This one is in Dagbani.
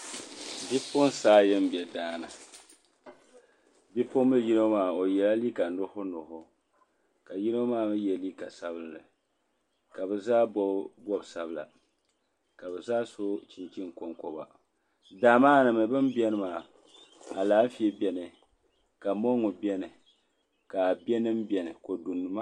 Bipuɣunsi ayi n bɛ daani bipuɣunbili yino maa o yɛla liiga nuɣso nuɣso ka yino maa mii yɛ liiga sabinli ka bi zaa bob bob sabila ka bi zaa so chinchini konkoba daa maa ni mii bi ni biɛni maa Alaafee biɛni ka mongu biɛni ka a bɛ nim biɛni kodu nima